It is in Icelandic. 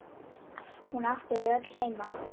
Hún átti þau öll heima.